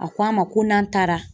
A ko a ma ko n'an taara.